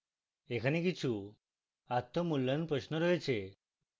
এখানে কিছু আত্ম মূল্যায়ন প্রশ্ন রয়েছে